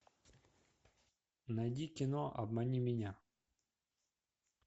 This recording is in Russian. найди кино обмани меня